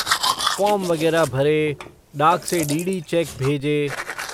Form वगैरह भरे, डाक से डी. डी. चेक भेजे।